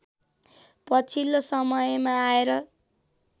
पछिल्लो समयमा आएर